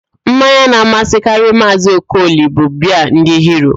Mmanya na-amasịkarị Maazị Okoli bụ biaa ndị Hiro